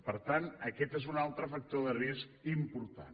per tant aquest és un altre factor de risc important